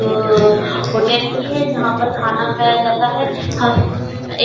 अ hotel की है जहां पर खाना खाया जाता है। हम एक --